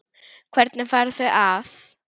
Hvernig fara þau að?